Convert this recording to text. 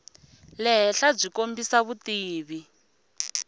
le henhla byi kombisa vutivi